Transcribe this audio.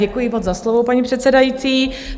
Děkuji moc za slovo, paní předsedající.